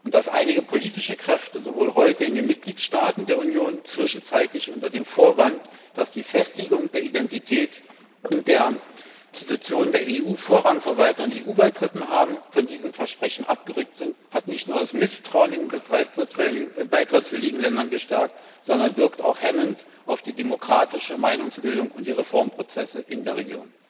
Dass einige politische Kräfte in den Mitgliedstaaten der Union zwischenzeitlich unter dem Vorwand, dass die Festigung der Identität und der Institutionen der EU Vorrang vor weiteren EU Beitritten haben von diesem Versprechen abgerückt sind, hat nicht nur das Misstrauen in den beitrittswilligen Ländern verstärkt, sondern wirkt auch hemmend auf die demokratische Meinungsbildung und die Reformprozesse in der Region.